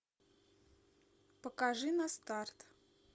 покажи на старт